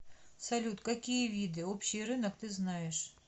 салют какие виды общий рынок ты знаешь